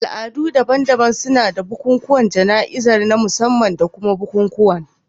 Al'adu daban-daban suna da bukukuwan jana'izar na musamman da kuma bukukuwan